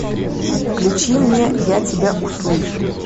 включи мне я тебя услышу